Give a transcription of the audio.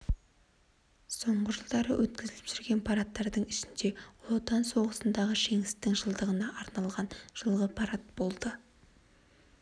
соңғы жылдары өткізіліп жүрген парадтардың ішінде жж ұлы отан соғысындағы жеңістің жылдығына арналған жылғы парад болды